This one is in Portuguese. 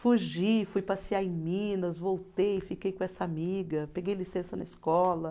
Fugi, fui passear em Minas, voltei, fiquei com essa amiga, peguei licença na escola.